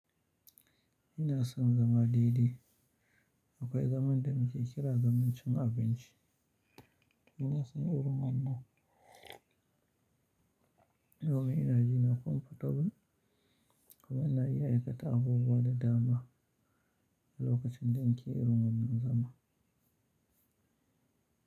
Ina son zama dai-dai Akwai zaman da muke kira zaman cin abinci. Ina son irin wannan. Yau ina jina comfortable kuma ina iya aikata abubuwa da dama a lokacin da nake irin wannan zama.